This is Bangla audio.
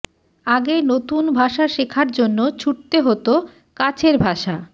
আগে নতুন ভাষা শেখার জন্য ছুটতে হত কাছের ভাষা